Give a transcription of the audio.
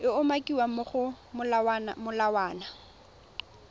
e umakiwang mo go molawana